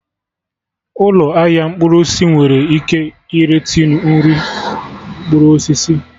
Ụlọ ahịa mkpụrụ osisi nwere ike ire tinu nri mkpụrụ osisi